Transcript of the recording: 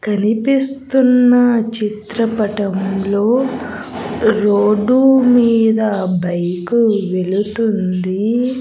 కనిపిస్తున్న చిత్రపటంలో రోడ్డు మీద బైకు వెళుతుంది.